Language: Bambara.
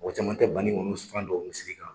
Mɔgɔ caman tɛ bani kɔni Usmani dɔn o kan